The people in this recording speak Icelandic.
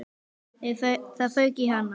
Það fauk í hana.